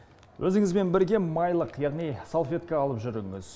өзіңізбен бірге майлық яғни салфетка алып жүріңіз